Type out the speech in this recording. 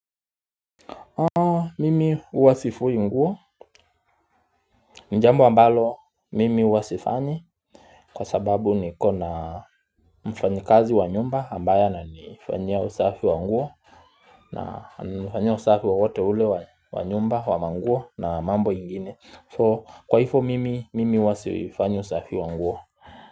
Mimi huwa sifuyi nguo ni jambo ambalo mimi huwa sifanyi Kwa sababu niko na mfanyikazi wa nyumba ambaya ananifanyia usafi wa nguo na ananifanyia usafi wowote ule wa nyumba wa manguo na mambo ingine So kwaifo mimi huwa sifanyi usafi wa nguo.